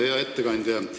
Hea ettekandja!